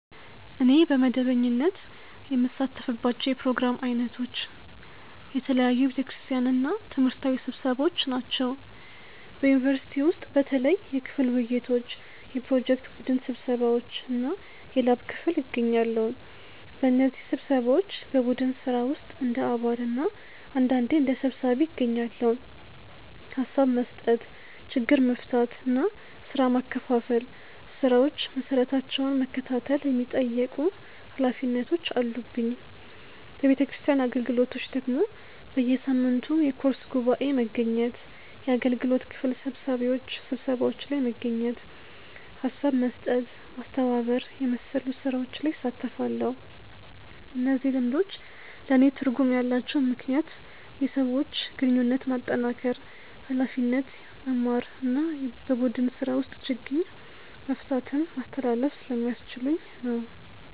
እኔ በመደበኛነት የምሳተፍባቸው የፕሮግራም ዓይነቶች፦ የተለያዩ የቤተ ክርስቲያን እና ትምህርታዊ ስብሰባዎች ናቸው። በዩኒቨርሲቲ ውስጥ በተለይ የክፍል ውይይቶች፣ የፕሮጀክት ቡድን ስብሰባዎች እና የላብ ክፍል እገኛለሁ። በእነዚህ ስብሰባዎች በቡድን ስራ ውስጥ እንደ አባል እና አንዳንዴ እንደ ሰብሳቢ እገኛለሁ፤ ሀሳብ መስጠት፣ ችግር መፍታት እና ስራ ማከፋፈል፣ ስራዎች መሰራታቸውን መከታተል የሚጠየቁ ኃላፊነቶች አሉብኝ። በቤተክርስቲያን አገልግሎቶች ደግሞ በየሳምንቱ የኮርስ ጉባኤ መገኘት፣ የአገልግሎት ክፍል ስብሰባዎች ላይ መገኘት፣ ሀሣብ መስጠት፣ ማስተባበር የመሰሉ ስራዎች ላይ እሣተፋለሁ። እነዚህ ልምዶች ለእኔ ትርጉም ያላቸው ምክንያት የሰዎች ግንኙነት ማጠናከር፣ ኃላፊነት መማር እና በቡድን ስራ ውስጥ ችግኝ መፍታትን ማስተላለፍ ስለሚያስችሉኝ ነው።